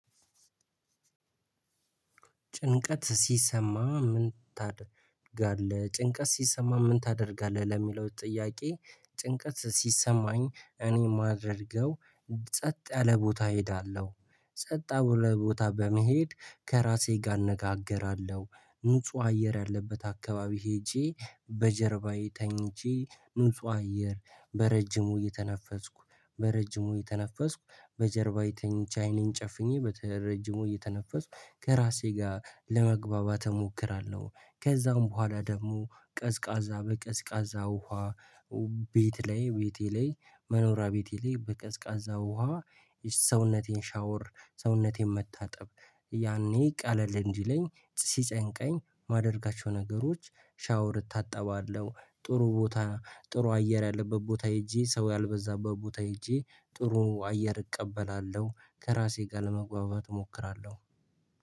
ጭንቀት ሲሰማ ምን ታደርጋለህ ጭንቀት ሲሰማ ምን ታደርጋለህ? ለሚለው ጥያቄ ጭንቀት ሲሰማኝ እኔ የማደርገው። ጸጥ ያለ ቦታ እሄዳለሁ ጸጥ ያለ ቦታ በመሄድ ከራሴ ጋር እነጋገራለሁ ንጹህ አየር ያለበት አካባቢ ሄጄ በጀርባዬ ተኝቼ ንጹህ አየር በረጅሙ እየተነፈስኩ በረጅሙ እየተነፈስኩ በጀርባዬ ቻ ተኝቼ ዐይኔን ጨፍኜ በተረጅሙ እየተነፈሱ ከራሴ ጋር ለመግባባት እሞክራለሁ። ከዛም በኋላ ደግሞ ቀዝቃዛ በቀዝቃዛ ውሃ። ቤት ላይ ቤቴ ላይ መኖሪያ ቤቴ ላይ በቀዝቃዛ ውሃ ሰውነቴን ሻወር ሰውነቴን መታጠብ። ያኔ ቀለል እንዲለኝ ሲጨንቀኝ የማደርጋቸው ነገሮች ሻወር እታጠባለሁ ጥሩ ቦታ ጥሩ አየር ያለበት ቦታ ሄጄ ሰው ያልበዛበት ቦታ ሄጄ ጥሩ አየር እቀበላለሁ ከራሴ ጋር ለመግባባት እሞክራለሁ